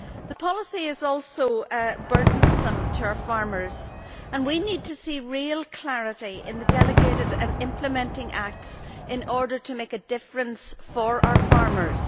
The policy is also burdensome to our farmers and we need to see real clarity in the delegated and implementing acts in order to make a difference for our farmers.